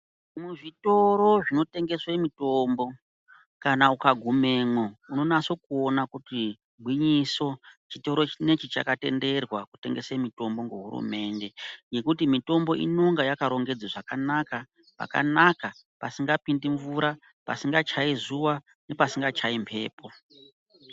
Muzvitoro zvinotengeswe mitombo kana ukagumemwo unonase kuona kuti gwinyiso chitoro chinechi chakatenderwa kutengesa mutombo kuhurumende ngekuti mutombo inenge yakarongedzwe zvakanaka pakanaka pasingapindi mvura pasinga chayi zuwa pasinga chayi mhepo